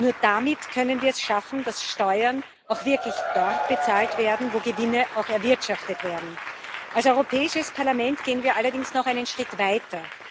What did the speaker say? Nur damit können wir es schaffen, dass Steuern auch wirklich dort bezahlt werden, wo Gewinne erwirtschaftet werden. Als Europäisches Parlament gehen wir allerdings noch einen Schritt weiter.